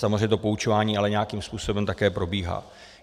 Samozřejmě to poučování ale nějakým způsobem také probíhá.